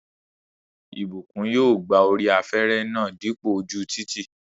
Ìbùkún yóò gba orí afẹ́rẹ́ náà dípò ojú títì